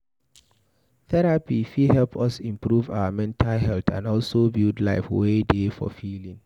Therapy fit help us improve our mental health and also build life wey dey fulfilling